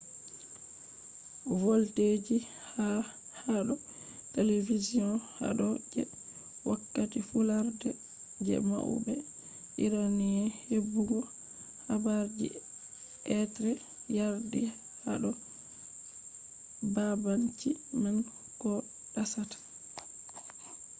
voldeji ha rayuwa hado television hado je wokkati fudarde je maube iranian hebugo habarji be yardi hado babanci man koh dasata